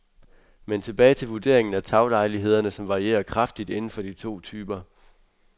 Men tilbage til vurderingen af taglejlighederne, som varierer kraftigt inden for de to typer.